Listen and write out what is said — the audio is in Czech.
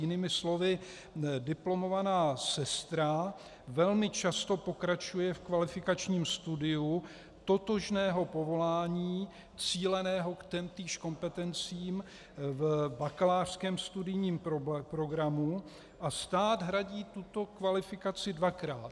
Jinými slovy, diplomovaná sestra velmi často pokračuje v kvalifikačním studiu totožného povolání cíleného k týmž kompetencím v bakalářském studijním programu a stát hradí tuto kvalifikaci dvakrát.